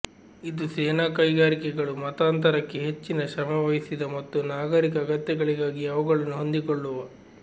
ಇದು ಸೇನಾ ಕೈಗಾರಿಕೆಗಳು ಮತಾಂತರಕ್ಕೆ ಹೆಚ್ಚಿನ ಶ್ರಮವಹಿಸಿದ ಮತ್ತು ನಾಗರಿಕ ಅಗತ್ಯಗಳಿಗಾಗಿ ಅವುಗಳನ್ನು ಹೊಂದಿಕೊಳ್ಳುವ